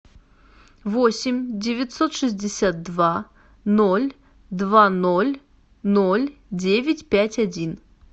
восемь девятьсот шестьдесят два ноль два ноль ноль девять пять один